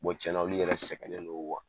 tiɲɛna olu yɛrɛ sɛgɛnnen don